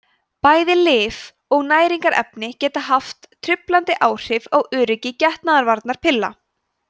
bæði lyf og næringarefni geta haft truflandi áhrif á öryggi getnaðarvarnarpilla